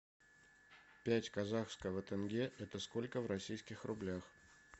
пять казахского тенге это сколько в российских рублях